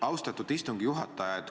Austatud istungi juhataja!